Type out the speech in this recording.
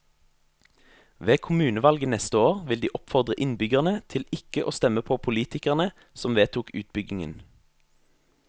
Ved kommunevalget neste år vil de oppfordre innbyggerne til ikke å stemme på politikerne som vedtok utbyggingen.